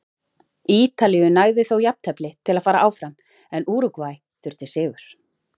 Ítalíu nægði þó jafntefli til að fara áfram en Úrúgvæ þurfti sigur.